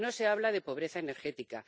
No se habla de pobreza energética